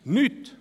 – Nichts.